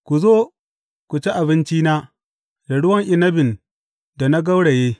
Ku zo, ku ci abincina da ruwan inabin da na gauraye.